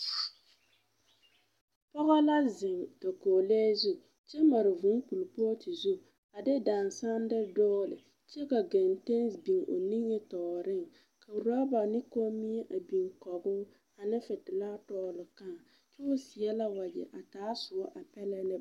Pɔbɔ la zeŋ dakolee zu. Kyɛ mare vūū kolpɔɔte zu, a de dããsa de doole, kyɛ ka gɛntɛn s biŋ o nimitɔɔreŋ, ka woraba ne kommie a biŋ kɔŋoo ane fetelaa dɔɔle kãã. Kyoo seɛ la wagyɛ a taa soɔ a pɛlɛ lɛ.